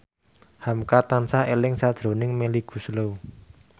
hamka tansah eling sakjroning Melly Goeslaw